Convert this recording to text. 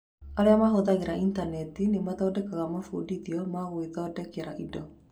Arĩa mahũthagĩra Intaneti nĩ mathondekaga mabundithio ma gwĩthondekera indo.